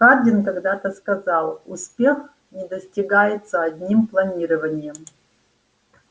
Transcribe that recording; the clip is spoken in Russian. хардин когда-то сказал успех не достигается одним планированием